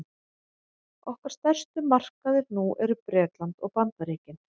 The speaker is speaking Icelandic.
okkar stærstu markaðir nú eru bretland og bandaríkin